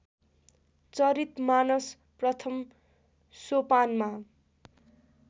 चरितमानस प्रथम सोपानमा